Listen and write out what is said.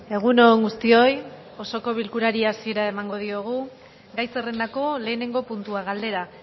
egun on guztioi osoko bilkurari hasiera emango diogu gai zerrendako lehenengo puntua galdera